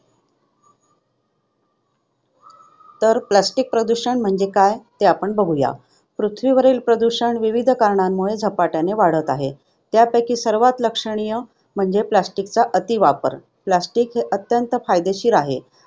तर plastic प्रदूषण म्हणजे काय? हे आपण बघूया. पृथ्वीवरील प्रदूषण विविध कारणांमुळे झपाट्याने वाढत आहे, त्यापैकी सर्वात लक्षणीय म्हणजे plastic चा अतिवापर. Plastic अत्यंत फायदेशीर आहे.